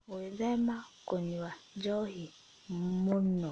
Gwĩthema kũnyua njohi mũno